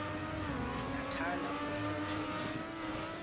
ndiyakuthanda ukukhe ndive